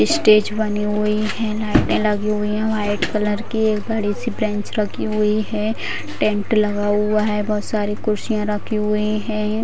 Stage बने हुए है। लाइटे लगी हुई है व्हाइट कलर की बड़ी-सी बेंच रखी हुई है। टेंट लगा हुआ है। बहोत सारी कुर्सियां रखी हुई है।